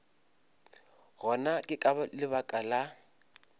gona ke ka lebaka la